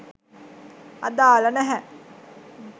අදාළ නැහැ.